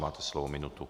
Máte slovo, minutu.